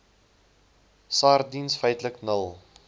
sardiens feitlik nul